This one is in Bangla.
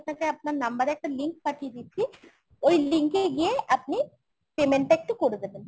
আপনার number এ একটা link পাঠিয়ে দিচ্ছি। ওই link এ গিয়ে আপনি payment টা একটু করে দেবেন।